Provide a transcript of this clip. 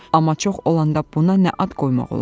Amma çox olanda buna nə ad qoymaq olar?